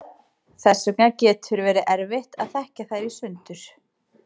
Þess vegna getur verið erfitt að þekkja þær í sundur.